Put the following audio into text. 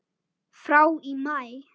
frá í maí.